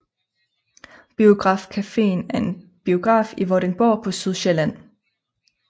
Biograf Caféen er en biograf i Vordingborg på Sydsjælland